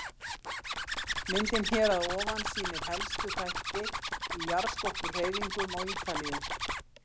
Myndin hér að ofan sýnir helstu þætti í jarðskorpuhreyfingum á Ítalíu.